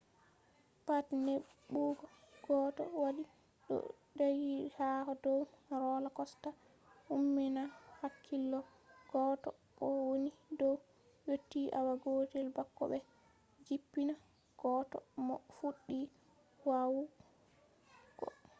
pat neɓugo goɗɗo waɗi ɗo ɗaggi ha dow rola kosta umminan hakkilo goɗɗo mo woni dow yotti awa gotel bako ɓe jippina goɗɗo mo fuɗɗi wa’ugo